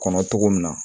Kɔnɔ togo min na